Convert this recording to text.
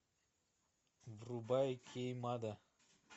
врубай кеймада